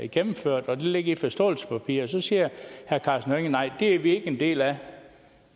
gennemførte og det ligger i forståelsespapiret og så siger herre karsten hønge nej det er vi ikke en del af